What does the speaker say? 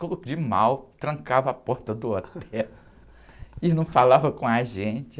Ficou de mal, trancava a porta do hotel e não falava com a gente.